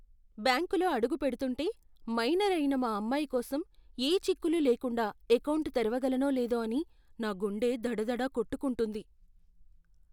బ్యాంకులో అడుగుపెడుతుంటే, మైనర్ అయిన మా అమ్మాయి కోసం ఏ చిక్కులు లేకుండా ఎకౌంటు తెరవగలనో లేదో అని నా గుండె దడదడా కొట్టుకుంటుంది.